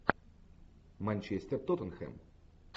манчестер тоттенхэм